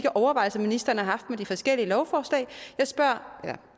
overvejelser ministeren har haft om de forskellige lovforslag jeg spørger eller